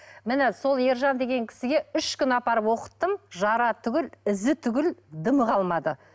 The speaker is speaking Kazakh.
міне сол ержан деген кісіге үш күн апарып оқыттым жара түгілі ізі түгілі дымы қалмады